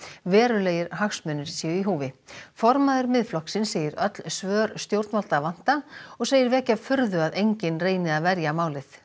verulegir hagsmunir séu í húfi formaður Miðflokksins segir öll svör stjórnvalda vanta og segir vekja furðu að enginn reyni að verja málið